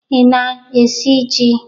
Ị na-esi jí?